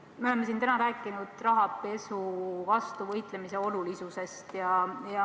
Me oleme täna siin rääkinud rahapesu vastu võitlemise olulisusest.